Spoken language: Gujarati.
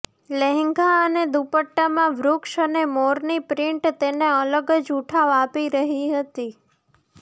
લહેંગા અને દુપટ્ટામાં વૃક્ષ અને મોરની પ્રિન્ટ તેને અલગ જ ઉઠાવ આપી રહી હતી